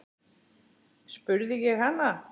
spurði ég hana.